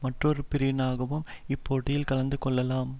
மற்றொரு பிரிவினராகவும் இப்போட்டில் கலந்து கொள்ளலாம்